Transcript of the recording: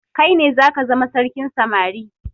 Kaine zaka zama sarkin samari